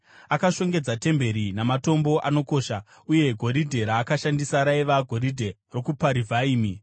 Akashongedza temberi namatombo anokosha. Uye goridhe raakashandisa raiva goridhe rokuParivhaimi.